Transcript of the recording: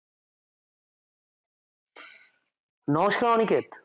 নমস্কার অনিকেত